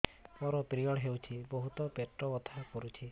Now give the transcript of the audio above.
ମୋର ପିରିଅଡ଼ ହୋଇଛି ବହୁତ ପେଟ ବଥା କରୁଛି